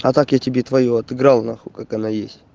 а так я тебе твою отыграл нахуй как она есть